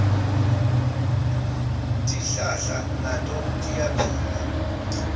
tihlahla nato tiyaphila